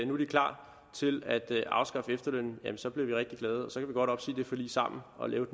nu er de klar til at afskaffe efterlønnen bliver vi rigtig glade og så kan vi godt opsige det forlig sammen og lave